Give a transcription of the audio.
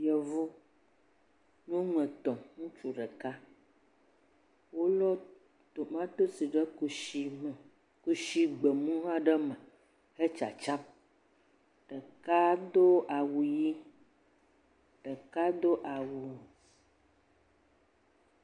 Yevu, nyɔnu etɔ̃ ŋutsu ɖeka wolɔ tomatosi ɖe kusi me, kusi gbemu aɖe me hetsatsam, ɖeka do awu ʋi, ɖeka do awu.